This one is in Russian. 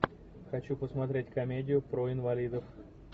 хочу посмотреть комедию про инвалидов